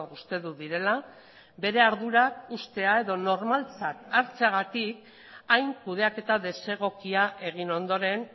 uste dut direla bere ardurak uztea edo normaltzat hartzeagatik hain kudeaketa desegokia egin ondoren